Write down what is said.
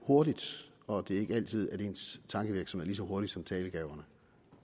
hurtigt og det er ikke altid at ens tankevirksomhed så hurtig som talegaverne